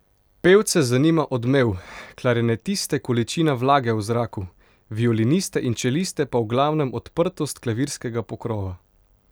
Pevce zanima odmev, klarinetiste količina vlage v zraku, violiniste in čeliste pa v glavnem odprtost klavirskega pokrova.